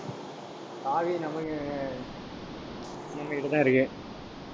சாவி நம்மகி~ நம்ம கிட்ட தான் இருக்கு.